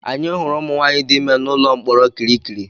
Anyị hụrụ ụmụnwaanyị dị ime n'ụlọ mkpọrọ kirikiri.